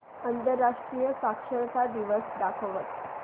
आंतरराष्ट्रीय साक्षरता दिवस दाखवच